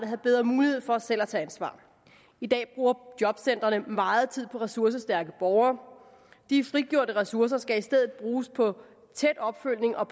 have bedre mulighed for selv at tage ansvar i dag bruger jobcentrene meget tid på ressourcestærke borgere de frigjorte ressourcer skal i stedet bruges på tæt opfølgning og